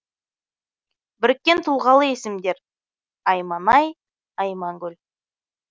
біріккен тұлғалы есімдер айманай аймангүл